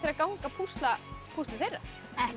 að ganga að púsla púslið þeirra ekki